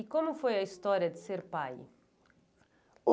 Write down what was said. E como foi a história de ser pai?